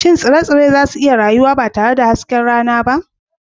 Shin tsire-tsire za su iya rayuwa ba tare da hasken rana ba?